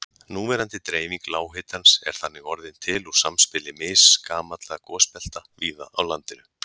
Núverandi dreifing lághitans er þannig orðin til úr samspili misgamalla gosbelta víða á landinu.